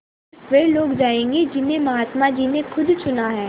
स़िर्फ वे लोग जायेंगे जिन्हें महात्मा जी ने खुद चुना है